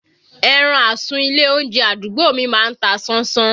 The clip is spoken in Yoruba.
Ẹran àsun ilé oúnjẹ àdúgbò mi má ń ta sánsán